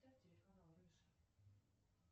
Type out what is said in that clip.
поставь телеканал рыжий